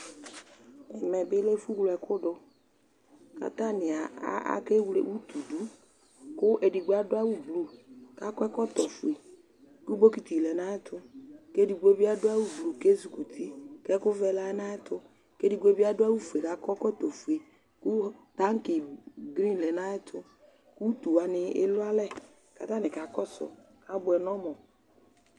Ɛmɛ bɩ lɛ ɛfʋwle ɛkʋ dʋ kʋ atanɩ akewle utu dʋ kʋ edigbo adʋ awʋblu kʋ akɔ ɛkɔtɔfue kʋ bokiti lɛ nʋ ayɛtʋ kʋ edigbo bɩ adʋ awʋblu kʋ ezikuti kʋ ɛkʋvɛ lɛ nʋ ayɛtʋ kʋ edigbo bɩ adʋ awʋfue kʋ akɔ ɛkɔtɔfue kʋ taŋkɩ gri lɛ nʋ ayɛtʋ kʋ utu wanɩ elualɛ kʋ atanɩ kakɔsʋ kʋ abʋɛ nʋ ɔmʋ